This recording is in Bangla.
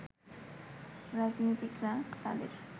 রাজনীতিকরা তাদের